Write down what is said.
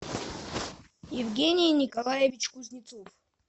евгений николаевич кузнецов